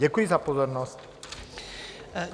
Děkuji za pozornost.